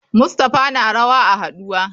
Mustapha na rawa a haduwa.